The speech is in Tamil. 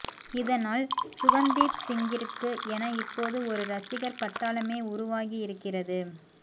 இதனால் சுகந்தீப் சிங்கிற்க்கு என இப்போது ஒரு ரசிகர் பட்டாளமே உருவாகி இருக்கிறது